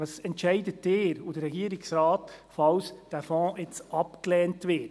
Was entscheiden Sie und der Regierungsrat, falls dieser Fonds nun abgelehnt wird?